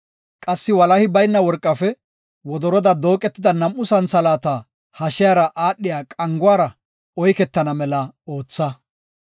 Qassi walahi bayna worqafe wodoroda dooqetida nam7u santhalaata hashiyara aadhiya qanguwara oyketana mela ootha.